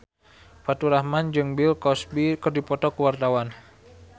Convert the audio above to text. Faturrahman jeung Bill Cosby keur dipoto ku wartawan